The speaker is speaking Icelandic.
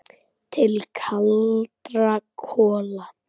Til kaldra kola.